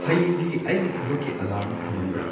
ꯍꯌꯦꯡꯒꯤ ꯑꯩꯒꯤ ꯊꯕꯛꯀꯤ ꯑꯦꯂꯥꯔꯝ ꯊꯃꯝꯕ꯭ꯔ